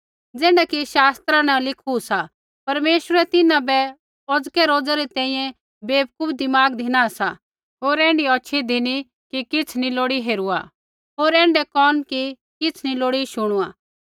ज़ैण्ढा कि शास्त्रा न लिखू सा परमेश्वरै तिन्हां बै औज़के रोज़ा तैंईंयैं बेवकूफ दिमाग धिना सा होर ऐण्ढी होछ़ी धिनी कि किछ़ नी लोड़ी हेरुआ होर ऐण्ढै कोन कि किछ़ नी लोड़ी शुणुआ